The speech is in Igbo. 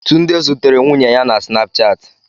Tunde zutere nwunye ya na Snapchat